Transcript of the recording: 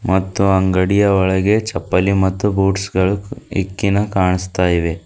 ಮತ್ತು ಅಂಗಡಿಯ ಒಳಗೆ ಚಪ್ಪಲಿ ಮತ್ತು ಬೂಟ್ಸ್ ಗಳು ಇಕ್ಕಿನ ಕಾಣಿಸ್ತಾ ಇವೆ.